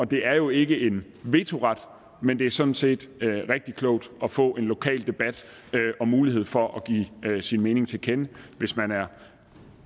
det er jo ikke en vetoret men det er sådan set rigtig klogt at få en lokal debat og mulighed for at give sin mening til kende hvis man er